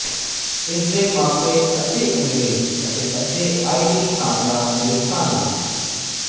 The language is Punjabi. ਇਸ ਦੇ ਮਾਪੇ ਅੱਧੇ ਅੰਗਰੇਜ਼ ਅਤੇ ਅੱਧੇ ਆਈਰਿਸ਼ ਖ਼ਾਨਦਾਨ ਦੇ ਸਨ